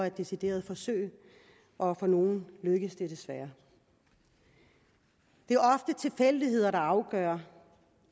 et decideret forsøg og for nogle lykkes det desværre det er ofte tilfældigheder der afgør